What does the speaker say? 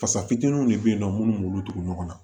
Fasa fitininw de bɛ yen nɔ minnu b'olu tugu ɲɔgɔn na